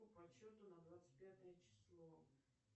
по подсчету на двадцать пятое число